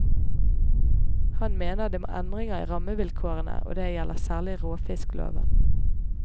Han mener det må endringer i rammevilkårene, og det gjelder særlig råfiskloven.